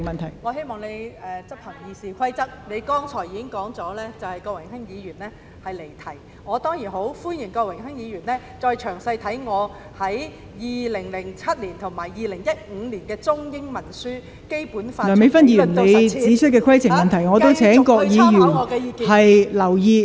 我希望代理主席執行《議事規則》，你剛才已經指出郭榮鏗議員離題，我當然很歡迎他詳細閱讀我在2007年及2015年出版的中英文書籍《香港基本法：從理論到實踐》，繼續參考我的意見。